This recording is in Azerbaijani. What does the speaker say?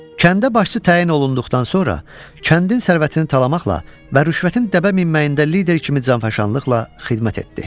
Kəndə başçı təyin olunduqdan sonra kəndin sərvətini talammaqla və rüşvətin dəbə minməsində lider kimi canfəşanlıqla xidmət etdi.